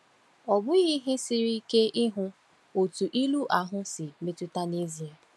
Ọ bụghị ihe siri ike ịhụ otú ilu ahụ si metụta n’ezie.